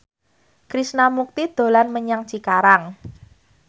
Krishna Mukti dolan menyang Cikarang